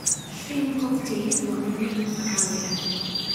Shrimp cocktail waa cunno-cunto caadi ah.